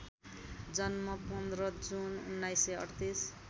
जन्म १५ जुन १९३८